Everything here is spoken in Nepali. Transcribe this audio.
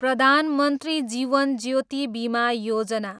प्रधान मन्त्री जीवन ज्योति बीमा योजना